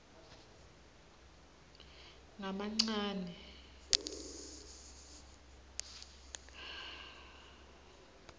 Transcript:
ngamancane